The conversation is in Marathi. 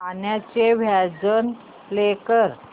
गाण्याचे व्हर्जन प्ले कर